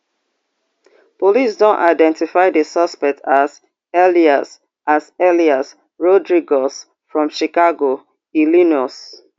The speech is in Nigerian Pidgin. police don identify di suspect as elias as elias rodriguez from chicago illinois